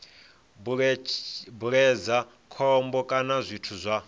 bveledza khombo kana zwithu zwa